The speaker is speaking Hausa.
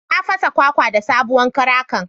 Na fasa kwakwan da sabowan karakan.